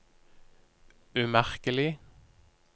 umerkelig